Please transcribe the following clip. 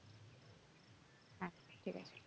ঠিক আছে